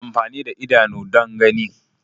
Ana amfani da idanu don gani.